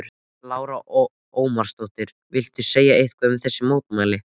Lára Ómarsdóttir: Viltu segja eitthvað um þessi mótmæli?